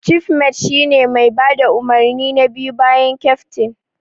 Cifmet shine mai bada umarni na biyu bayan keftin.